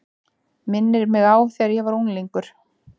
Minnir mig á þegar ég var unglingur.